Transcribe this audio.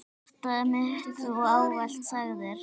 Hjartað mitt Þú ávallt sagðir.